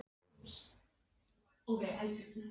En hann var heldur ekki vel gefinn.